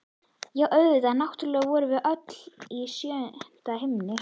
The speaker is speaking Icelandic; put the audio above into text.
Já, auðvitað, náttúrlega vorum við öll í sjöunda himni!